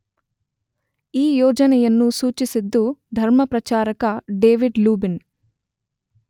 ಈ ಯೋಜನೆಯನ್ನು ಸೂಚಿಸಿದ್ದು ಧರ್ಮಪ್ರಚಾರಕ ಡೇವಿಡ್ ಲೂಬಿನ್.